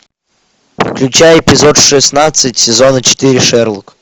включай эпизод шестнадцать сезона четыре шерлок